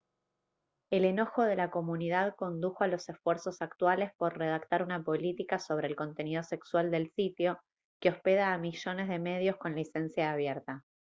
el enojo de la comunidad condujo a los esfuerzos actuales por redactar una política sobre el contenido sexual del sitio que hospeda a millones de medios con licencia abierta